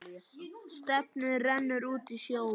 Stefnið rennur út í sjóinn.